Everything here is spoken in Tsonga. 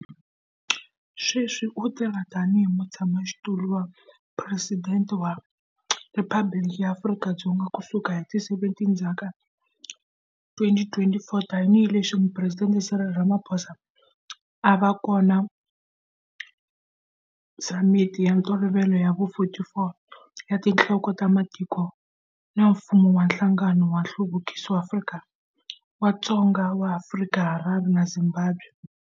Sweswi u tirha tanihi mutshama-xitulu wa phuresidente wa Riphabliki ra Afrika-Dzonga ku sukela hi ti 17 Ndzati 2024, tanihi leswi Phuresidente Cyril Ramaphosa a va kona Samiti ya Ntolovelo ya vu 44 ya Tinhloko ta Matiko na Mfumo wa Nhlangano wa Nhluvukiso wa Dzonga wa Afrika eHarare, Zimbabwe.